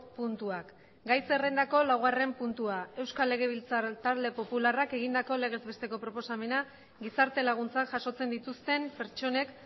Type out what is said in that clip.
puntuak gai zerrendako laugarren puntua euskal legebiltzar talde popularrak egindako legez besteko proposamena gizarte laguntzak jasotzen dituzten pertsonek